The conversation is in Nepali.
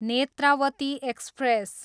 नेत्रावती एक्सप्रेस